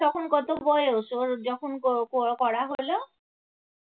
তখন কত বয়স ওর যখন ক~ করা হলো?